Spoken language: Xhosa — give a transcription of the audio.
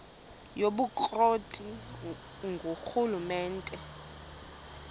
yobukro ti ngurhulumente